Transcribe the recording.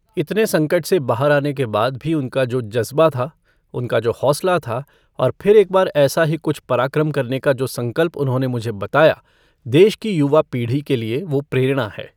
इतने संकट से बाहर आने के बाद भी उनका जो ज़ज्बा था, उनका जो हौसला था और फिर एक बार ऐसा ही कुछ पराक्रम करने का जो संकल्प उन्होंने मुझे बताया, देश की युवा पीढ़ी के लिए वो प्रेरणा है।